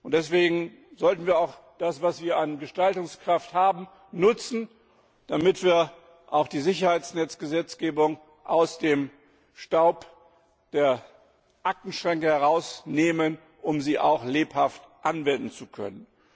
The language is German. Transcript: Deswegen sollten wir auch das, was wir an Gestaltungskraft haben, nutzen, damit wir auch die Sicherheitsnetzgesetzgebung aus dem Staub der Aktenschränke herausnehmen, um sie auch lebhaft anwenden zu können.